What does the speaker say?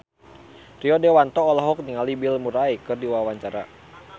Rio Dewanto olohok ningali Bill Murray keur diwawancara